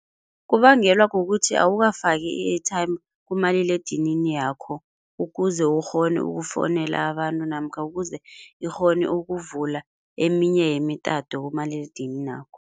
Kubangelwa kukuthi awukafaki i-airtime kumaliledinini yakho, ukuze ukghone ukufonela abantu namkha ukuze ikghone ukuvula eminye yemitato kumaliledininakho.